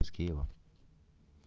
с киева